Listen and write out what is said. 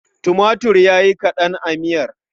Tumatir ya yi kaɗan a miyar.